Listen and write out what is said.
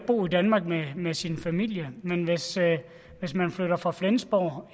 bo i danmark med med sin familie men hvis hvis man flytter fra flensborg